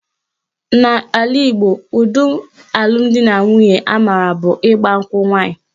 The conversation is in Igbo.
N'ala Igbo, ụdị alụmdinanwunye a maara bụ ịgba nkwụ nwaanyị